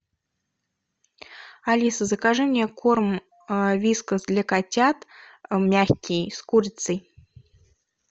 алиса закажи мне корм вискас для котят мягкий с курицей